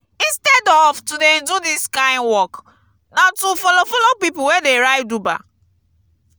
instead of to dey do dis kind work na to follow follow pipu wey dey ride uber.